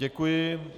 Děkuji.